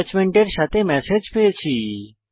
এটাচমেন্টের সাথে ম্যাসেজ পেয়েছি